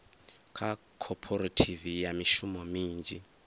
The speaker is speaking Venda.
kha khophorethivi ya mishumo minzhi